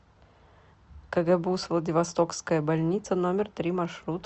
кгбуз владивостокская больница номер три маршрут